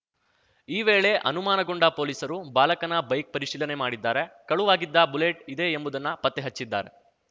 ಈ ವೇಳೆ ಅನುಮಾನಗೊಂಡ ಪೊಲೀಸರು ಬಾಲಕನ ಬೈಕ್‌ ಪರಿಶೀಲನೆ ಮಾಡಿದ್ದಾರೆ ಕಳುವಾಗಿದ್ದ ಬುಲೆಟ್‌ ಇದೇ ಎಂಬುದನ್ನ ಪತ್ತೆಹಚ್ಚಿದ್ದಾರೆ